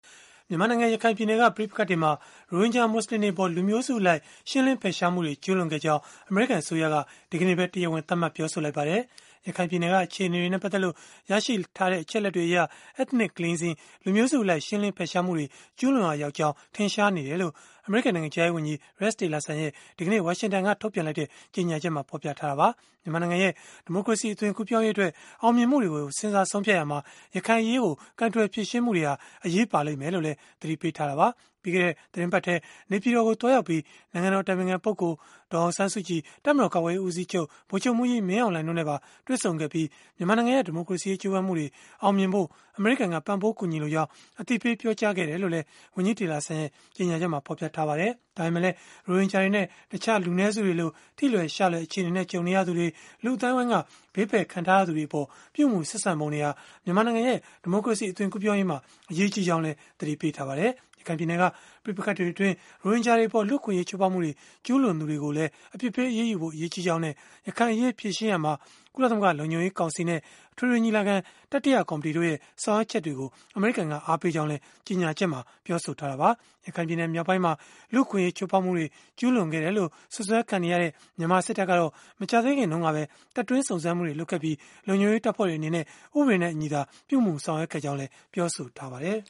မြန်မာနိုင်ငံ ရခိုင်ပြည်နယ်က ပဋိပက္ခတွေမှာ ရိုဟင်ဂျာမူဆလင်တွေအပေါ် လူမျိုးစုအလိုက် ရှင်းလင်းဖယ်ရှားမှုတွေ ကျုးလွန်ခဲ့ကြောင်း အမေရိကန် အစိုးရက ဒီကနေ့ပဲ တရားဝင် သတ်မှတ် ပြောဆိုလိုက်ပါတယ်။ ရခိုင်ပြည်နယ်က အခြေအနေတွေနဲ့ ပတ်သက်လို့ ရရှိထားတဲ့ အချက်အလက်တွေအရ ethnic cleansing လူမျိုးစုအလိုက် ရှင်းလင်းဖယ်ရှားမှုတွေ ကျုးလွန်ရာရောက်ကြောင်း ထင်ရှားနေတယ်လို့ အမေရိကန် နိုင်ငံခြားရေးဝန်ကြီး Rex Tillerson ရဲ့ ဒီကနေ့ ဝါရှင်တန်ကနေ ထုတ်ပြန်လိုက်တဲ့ ကြေညာချက်မှာ ဖော်ပြခဲ့တာပါ။ မြန်မာနိုင်ငံရဲ့ ဒီမိုကရေစီ အသွင်ကူးပြောင်းရေးအတွက် အောင်မြင်မှုတွေကို စဉ်းစားဆုံးဖြတ်ရာမှာ ရခိုင်အရေးကို ကိုင်တွယ် ဖြေရှင်းမှုတွေဟာ အရေးပါလိမ့်မယ်လို့လည်း သတိပေးခဲ့တာပါ။ ပြီးခဲ့တဲ့ သီတင်းပတ်ထဲ နေပြည်တော်ကို သွားရောက်ပြီး နိုင်ငံတော် အတိုင်ပင်ခံပုဂ္ဂိုလ် ဒေါ်အောင်ဆန်းစုကြည် တပ်မတော် ကာကွယ်ရေးဦးစီးချုပ် ဗိုလ်ချုပ်မှူးကြီး မင်းအောင်လှိုင်တို့နဲ့ပါ တွေ့ဆုံခဲ့ပြီး၊ မြန်မာနိုင်ငံရဲ့ ဒီမိုကရေစီရေး ကြိုးပမ်းမှုတွေ အောင်မြင်ဖို့ အမေရိကန်က ပံ့ပိုးကူညီလိုကြောင်း အသိပေး ပြောကြားခဲ့ကြောင်းလည်း ဝန်ကြီး Tillerson ရဲ့ ကြေညာချက်မှာ ဖော်ပြထားပါတယ်။ ဒါပေမဲ့လည်း ရိုဟင်ဂျာတွေနဲ့ တခြားလူနည်းစုတွေလို ထိလွယ်ရှလွယ် အခြေအနေနဲ့ ကြုံနေရသူတွေ၊ လူ့အသိုင်းအဝန်းက ဘေးဖယ်ခံထားရသူတွေအပေါ် ပြုမူဆက်ဆံပုံတွေဟာ မြန်မာနိုင်ငံရဲ့ ဒီမိုကရေစီ အသွင်ကူးပြောင်းရေးမှာ အရေးကြီးကြောင်းလည်း သတိပေးထားပါတယ်။ ရခိုင်ပြည်နယ်က ပဋိပက္ခတွေအတွင်း ရိုဟင်ဂျာတွေအပေါ် လူ့အခွင့်အရေး ချိုးဖောက်မှုတွေ ကျုးလွန်သူတွေကိုလည်း အပြစ်ပေးအရေးယူဖို့ အရေးကြီးကြောင်းနဲ့ ရခိုင်အရေး ဖြေရှင်းရာမှာ ကုလသမဂ္ဂ လုံခြုံရေးကောင်စီနဲ့ အထွေထွေညီလာခံ တတိယကော်မတီတို့ရဲ့ ဆောင်ရွက်ချက်တွေကို အမေရိကန်က အားပေးကြောင်းလည်း ကြေညာချက်မှာ ပြောဆိုထားတာပါ။ ရခိုင်ပြည်နယ် မြောက်ပိုင်းမှာ လူ့အခွင့်အရေး ချိုးဖောက်မှုတွေ ကျုးလွန်ခဲ့တယ်လို့ စွပ်စွဲခံထားရတဲ့ မြန်မာစစ်တပ်ကတော့ မကြာသေးခင်ကပဲ တပ်တွင်းစုံစမ်းမှုတွေ လုပ်ခဲ့ပြီး၊ လုံခြုံရေးတပ်ဖွဲ့တွေအနေနဲ့ ဥပဒေနဲ့အညီသာ ပြုမူဆောင်ရွက်ခဲ့ကြောင်း ပြောဆိုထားပါတယ်